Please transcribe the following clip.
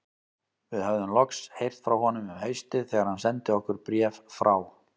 Við höfðum loks heyrt frá honum um haustið þegar hann sendi okkur bréf frá